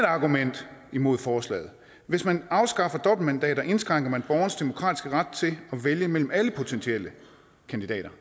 argument mod forslaget er hvis man afskaffer dobbeltmandater indskrænker man borgernes demokratiske ret til at vælge mellem alle potentielle kandidater